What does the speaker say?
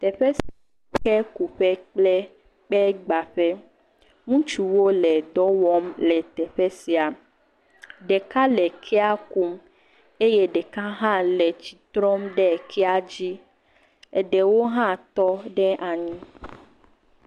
Teƒe sia nye kekuƒe kple kpegbaƒe, ŋutsuwo le dɔ wɔm le teƒe sia, ɖeka le kea kum eye ɖeka hã tsi trɔm ɖe kea dzi, eɖewo hã tɔ ɖe anyi.